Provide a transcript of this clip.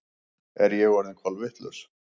Er ég orðin kolvitlaus?